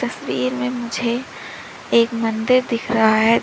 तस्वीर में मुझे एक मंदिर दिख रहा है।